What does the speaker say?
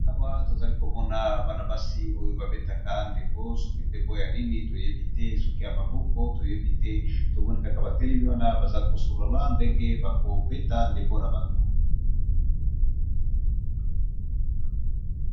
Awa nazalikomona Bana basi oyo babetaka ndembo sokî dembo Nini toyebite bazo solola ndenge bakobeta ndembo nabango.